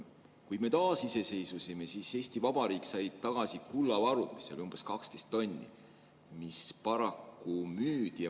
Kui me taasiseseisvusime, siis Eesti Vabariik sai tagasi kullavarud, mida oli umbes 12 tonni ja mis paraku müüdi.